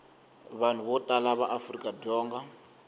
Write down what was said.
vanhu vo tala va afrikadzonga